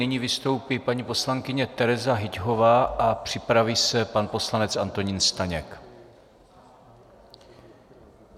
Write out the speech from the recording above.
Nyní vystoupí paní poslankyně Tereza Hyťhová a připraví se pan poslanec Antonín Staněk.